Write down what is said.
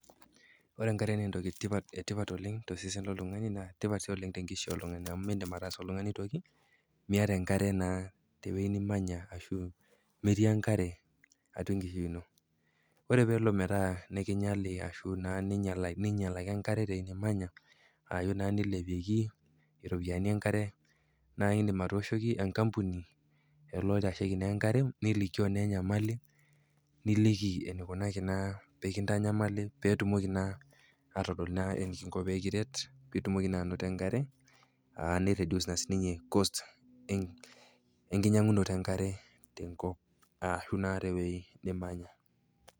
Ore enkare naa entoki etipat oleng tolsesen loltung'ani naa tipat si oleng te nkishui oltung'ani, amu mindim atasa oltungani toki miata enkare naa tewei nimanya ashu metii enkare atua enkishui ino. Ore peelo metaa nikinyali ashu neinyalaki enkare tewei nimany, aaku naa neilepieki iropiani enkare, naa indim atooshoki enkampuni lelo loitasheki naa enkare nilikio na enyamali niliki eneikunaki naa pekinyali petumoki atodol naa enikingo naa pee kiret, nitum naa enkare, neiredius naa sininye cost enkinyang'unoto enkare te nkop ashu naa tewei nimanya.